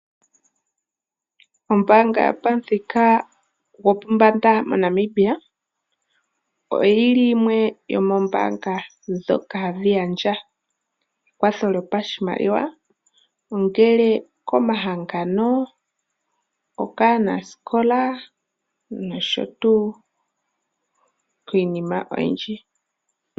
Ombaanga yopamuthika gopombanda moNamibia oyili yimwe yomoombaanga ndhoka hadhi gandja ekwatho lyopashimaliwa , ongele okomahangano , okaanasikola noshowoo piinima oyindji.